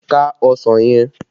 Ká ọsàn yẹn!